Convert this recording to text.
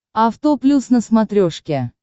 авто плюс на смотрешке